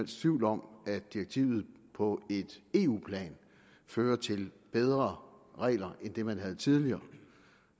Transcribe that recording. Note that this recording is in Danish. tvivl om at direktivet på eu plan fører til bedre regler end dem man havde tidligere